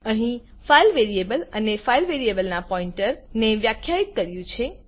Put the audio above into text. અહી file variable અને file variable ના પોઈન્ટર ને વ્યાખ્યાયિત કર્યું છે